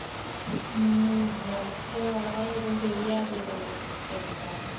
ஹம் எனக்கு அவ்வளவா எதுவும் தெரியாது பிரகிதா